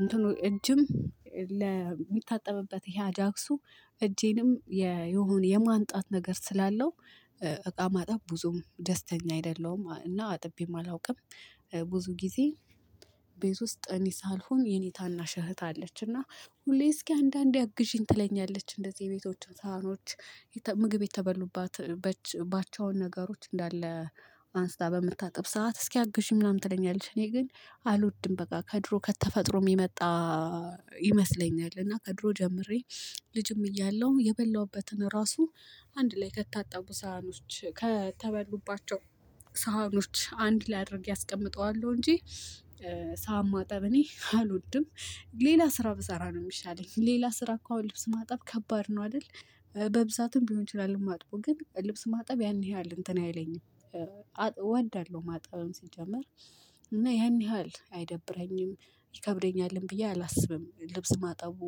እንትኑ እጅም ለሚታጠብበት ይሄ አጃክሱ እጄንም የሆነ የማንጣት ነገር ስላለው እቃ ማጠብ ብዙም ደስተኛ አይደለሁም እና አጥቤም አላውቅም። ብዙ ጊዜ ቤት ውስጥ እኔ ሳልሆን የኔ ታናሽ እህት አለች እና ሁሌ እስኪ አንዳንዴ አግዢኝ ትለኛለች እንደዚህ የቤቶች ሳህኖች ይታ ምግብ የተበሉባት በች ባቸውን ነገሮች እንዳለ አንስታ በምታጥብ ሰዓት እስኪ አግዥኝ ምናምን ትለኛለች። እኔ ግን አልወድም በቃ ከድሮ ከተፈጥሮም የመጣ ይመስለኛል። እና ከድሮ ጀምሬ ልጅም እያለሁ የበላሁበትን ራሱ አንድ ላይ ከታጠቡ ሳህኖች ከተበሉባቸው ሳህኖች አንድ ላይ አድርጌ አስቀምጠዋለሁ እንጂ። ሳህን ማጠብ እኔ አልወድም። ግ ሌላ ስራ ብሰራ ነው የሚሻለኝ ሌላ ስራ እኮ አሁን ልብስ ማጠብ ከባድ ነው አይደል? በብዛትም ሊሆን ይችላል ማጥበው ግን ልብስ ማጠብ ያን ያህል እንትን አይለኝም። አጥብ እወዳለሁ ማጠብም ሲጀመር እና ያን ያህል አይደብረኝም ይከብደኛልም ብዬ አላስብም። ልብስ ማጣቡ